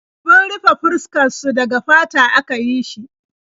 Abun rufe fuskar su daga fata aka yi shi.